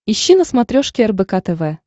ищи на смотрешке рбк тв